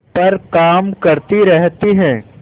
पर काम करती रहती है